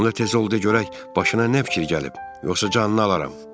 Onda tez ol, de görək başına nə fikir gəlib, yoxsa canını alaram.